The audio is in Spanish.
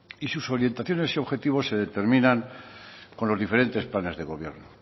y sus orientaciones y sus objetivos se determinan con los diferentes planes de gobierno